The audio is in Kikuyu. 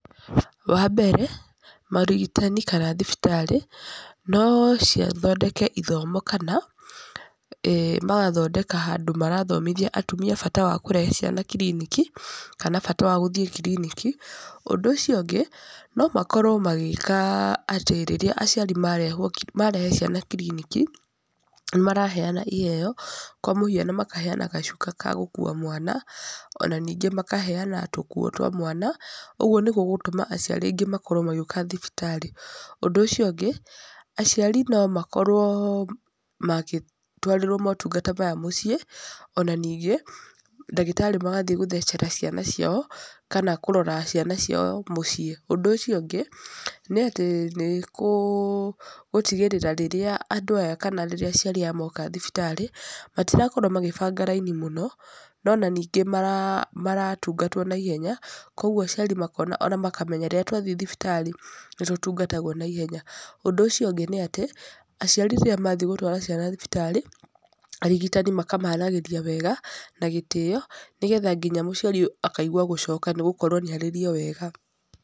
Wa mbere, morigitani kana thibitarĩ, no cithondeke ithomo kana, magathondeka handũ marathomithia atumia bata wa kũrehe ciana kiriniki, kana bata wa gũthiĩ kiriniki. Ũndũ ũcio ũngĩ, no makorwo magĩĩka atĩ rĩrĩa aciari marehwo marehe ciana kiriniki, nĩ maraheana iheeo, kwa mũkiano makaheana gacuka ka gũkuua mwana, ona ningĩ makaheana tũkuo twa mwana. Ũguo nĩ gũgũtũma aciari aingĩ makorwo magĩũka thibitarĩ. Ũndũ ũcio ũngĩ, aciari no makorwo makĩtwarĩrwo motungata maya mũciĩ, ona ningĩ, ndagĩtarĩ magathiĩ gũcera ciana ciao kana kũrora ciana ciao mũciĩ. Ũndũ ũcio ũngĩ, nĩ atĩ nĩ gũtigĩrĩra rĩrĩa andũ aya kana rĩrĩa aciari aya moka thibitarĩ, matirakorwo magĩbanga raini mũno, no ona ningĩ maratungatwo naihenya. Kũguo aciari makona ona makamenya rĩrĩa twathi thibitarĩ, nĩ tũtungatagwo naihenya. Ũndũ ũcio ũngĩ nĩ atĩ, aciari rĩrĩa mathi gũtwara ciana thibitarĩ, arigitani makamaragĩria wega, na gĩtĩyo, nĩgetha nginya mũciari akaigua gũcoka nĩ gũkorwo nĩ arĩrio wega.